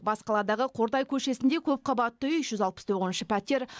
бас қаладағы қордай көшесінде көпқабатты үй жүз алпыс тоғызыншы пәтер